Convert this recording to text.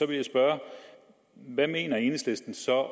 vil jeg spørge hvad mener enhedslisten så